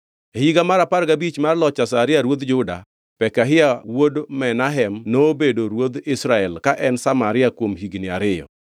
E higa mar apar gabich mar loch Azaria ruodh Juda, Pekahia wuod Menahem nobedo ruodh Israel ka en Samaria kuom higni ariyo.